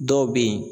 Dɔw bɛ yen